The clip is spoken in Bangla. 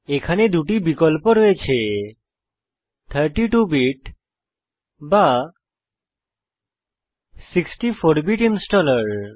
এখানে দুটি বিকল্প রয়েছে 32 বিট বা 64 বিট ইনস্টলার